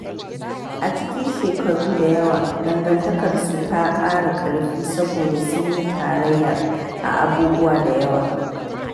A cikin shekaru da yawa, dangantakarsu ta ƙara ƙarfi saboda sun yi tarayya a abubuwa da yawa.